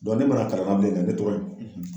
ne mar'a ka ne tɔgɔ ye